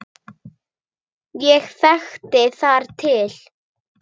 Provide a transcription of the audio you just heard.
Ég þekki þar til.